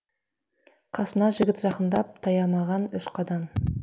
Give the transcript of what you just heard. қасына жігіт жақындап таямаған үш қадам